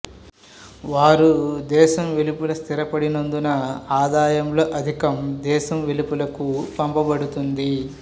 వారు దేశం వెలుపల స్థిరపడినందున ఆదాయంలో అధికం దేశం వెలుపలకు పంపబడుతుంది